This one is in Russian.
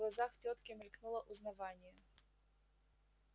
в глазах тётки мелькнуло узнавание